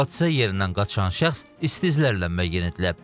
Hadisə yerindən qaçan şəxs isti izlərlə müəyyən edilib.